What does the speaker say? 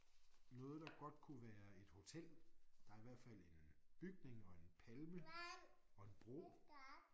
Noget der godt kunne være et hotel der i hvert fald en bygning og en palme og en bro